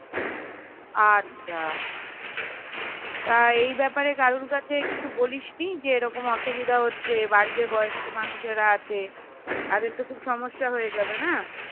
আচ্ছা তা এই বেপারে কারোর কাছে কিছু বলিসনি যে এরম অসুবিধা হচ্ছে বাড়িতে বয়স্ক মানুষেরা আছে তাদের তো খুব সমস্যা হয়ে যাবে না